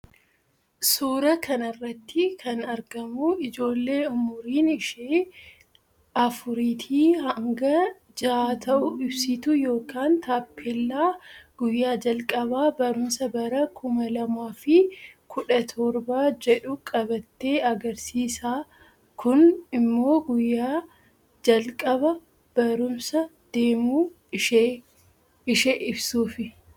Suuraa kanarratti kan argamu ijoolle umuriin ishee afuriiti hanga jaha ta'u ibsituu yookaan taappeella guyyaa jalqaba barumsa bara Kuma lamaafi kudha toorba jedhu qabatte agarsiisa Kun immoo guyya jalqaba barumsa deemu ishe ibsuufi